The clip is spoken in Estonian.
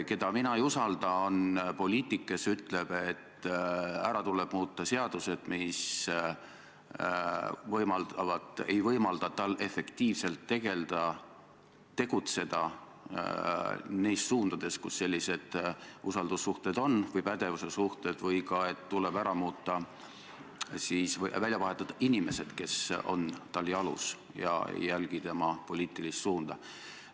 Keda mina ei usalda, on poliitik, kes ütleb, et ära tuleb muuta seadused, mis ei võimalda tal efektiivselt tegelda, tegutseda neis suundades, kus on sellised usaldussuhted või pädevussuhted, või ka et tuleb ära muuta, välja vahetada inimesed, kes on tal jalus ega järgi tema poliitilist suunda.